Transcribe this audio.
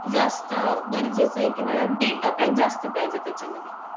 आणि मग त्यांच्या घर कामाला जातात महिला त्या .